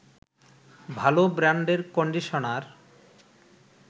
ভালো ব্রান্ডের কন্ডিশনার